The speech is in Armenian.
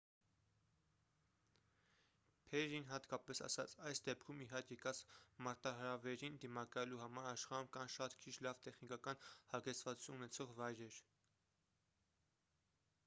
փերրին հատկապես ասաց․«այս դեպքում ի հայտ եկած մարտահրավերին դիմակայելու համար աշխարհում կան շատ քիչ լավ տեխնիկական հագեցվածություն ունեցող վայրեր»։